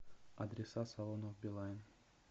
адреса салонов билайн